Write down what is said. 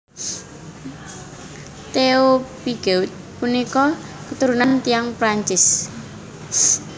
Theo Pigeaud punika keturunan tiyang Prancis